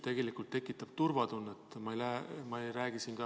Ühtsus tekitab turvatunnet.